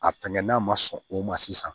A fɛngɛnna ma sɔn o ma sisan